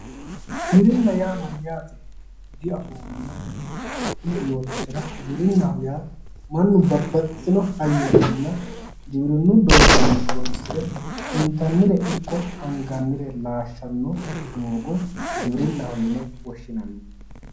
Giwirinna yaa mayyaate? diafoommona kulie yoottotera, giwirinnaho yaa mannu babbaxitino hayyonninna giwirinnu doogo horoonsire intannire ikko angannire laashshanno doogo giwirinnaho yine woshshinanni.